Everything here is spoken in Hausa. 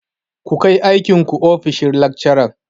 Ku kai aikin ku ofishin lekcaran!